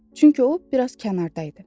Çünki o biraz kənarda idi.